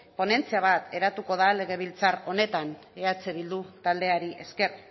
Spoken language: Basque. ponentzia bat eratuko da legebiltzar honetan eh bildu taldeari esker